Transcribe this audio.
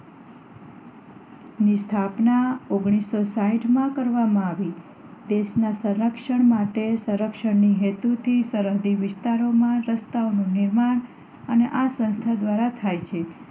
ની સ્થાપના ઓગણીસો સાહીઠ માં કરવામાં આવી દેશ ના સંરક્ષણ માર્ગ માટે સંરક્ષણ હેતુ થી સરહદી વિસ્તારોમાં રસ્તાઓ નું નિર્માણ અને આ સ્નાસ્થા દ્વારા થાય છે